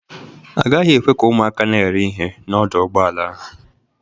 A gaghị ekwe ka ụmụaka na-ere ihe n'ọdọ ụgbọala ahụ.